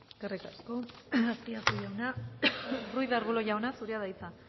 eskerrik asko azpiazu jauna ruiz de arbulo jauna zurea da hitza